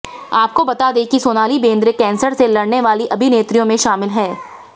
आपको बता दें कि सोनाली बेंद्रे कैंसर से लड़ने वाली अभिनेत्रियों में शामिल हैं